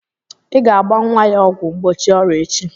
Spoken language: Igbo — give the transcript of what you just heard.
Ị ga-agba nwa ya ọgwụ mgbochi ọrịa echi!